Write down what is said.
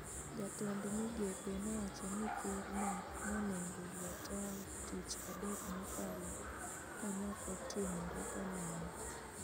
Jatend migepe nowacho ni ker no nonego gwe tao tich adek mokalo ka nokotimore kamano